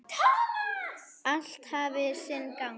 Allt hafi sinn gang.